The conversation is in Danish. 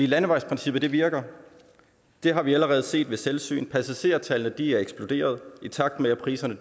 landevejsprincippet virker det har vi allerede set ved selvsyn passagertallene er eksploderet i takt med at priserne